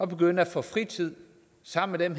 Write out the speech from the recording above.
begynde at få fritid sammen med